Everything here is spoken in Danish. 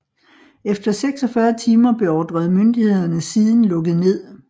Efter 46 timer beordrede myndighederne siden lukket ned